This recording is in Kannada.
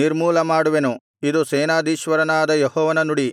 ನಿರ್ಮೂಲ ಮಾಡುವೆನು ಇದು ಸೇನಾಧೀಶ್ವರನಾದ ಯೆಹೋವನ ನುಡಿ